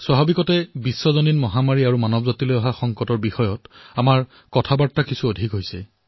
স্বাভাৱিকতে যি বিশ্বজনীন মহামাৰীয়ে দেখা দিলে মানৱ জাতিৰ ওপৰত যি সংকটৰ সৃষ্টি হল সেই সন্দৰ্ভত আমাৰ কথাবাৰ্তা অধিক হল